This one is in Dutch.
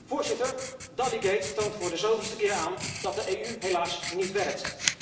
Voorzitter, Dalligate toont voor de zoveelste keer aan dat de EU helaas niet werkt.